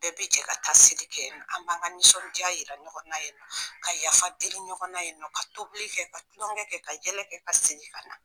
Bɛɛ bi jɛ ka taa seli kɛ an b'an ka nisɔnja yira ɲɔgɔn na yennɔ ka yafadeli ɲɔgɔn na yennɔ ka tobili kɛ ka tulonkɛ kɛ ka yɛlɛ kɛ ka segin ka na.